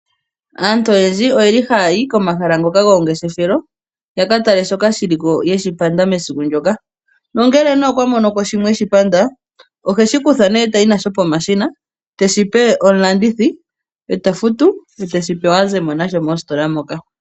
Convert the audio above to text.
Aantu oyendji ohaya yi komahala gomangeshefelo yaka tale shoka shi liko yeshi panda mesiku ndyoka. Ngele okwa mono ko sha eshipanda ohayi peshina teshipe omulandithi tafutu eteshi pewa azemo nasho mositola moka.